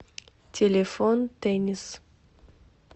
телефон теннис